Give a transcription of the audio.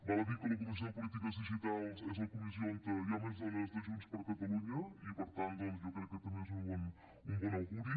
val a dir que la comissió de polítiques digitals és la comissió on hi ha més dones de junts per catalunya i per tant doncs jo crec que també és un bon auguri